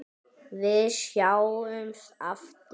Við sjáumst aftur.